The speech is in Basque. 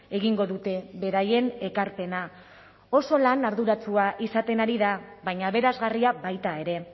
egingo dute beraien ekarpena oso lan arduratsua izaten ari da baina aberasgarria baita ere